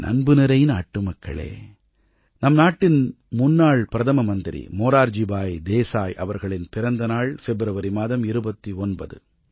என் அன்புநிறை நாட்டுமக்களே நம் நாட்டின் முன்னாள் பிரதம மந்திரி மொரார்ஜி பாய் தேசாய் அவர்களின் பிறந்த நாள் பிப்ரவரி மாதம் 29ஆம் நாள்